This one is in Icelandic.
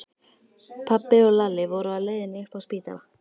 Pabbi og Lalli voru á leiðinni upp á spítala.